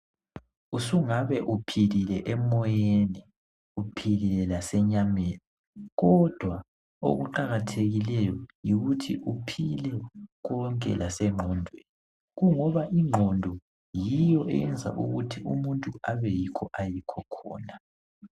Usungabe uphilile emoyeni uphilile lasenyameni kodwa okuqakathekile yikuthi uphile konke lasengqondweni kungoba ingqondo yiyo eyenza ukuthi umuntu abe yikho ayikho khona.